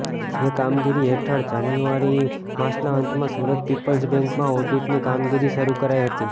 જે કામગીરી હેઠળ જાન્યુઆરી માસના અંતમાં સુરત પીપલ્સ બેંકમાં ઓડિટની કામગીરી શરૃ કરાઇ હતી